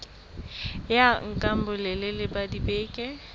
ya nka bolelele ba dibeke